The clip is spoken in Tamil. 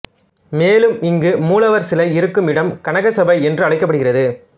மேலும் இங்கு மூலவர் சிலை இருக்கும் இடம் கனகசபை என்று அழைக்கப்படுகிறது